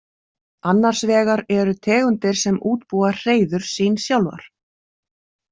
Annars vegar eru tegundir sem útbúa hreiður sín sjálfar.